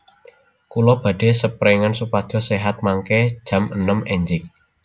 Kulo badhe seprengan supados sehat mangke jam enem enjing